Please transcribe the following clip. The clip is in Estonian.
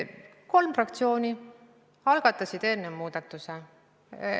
Kolm fraktsiooni algatasid seaduste muutmise.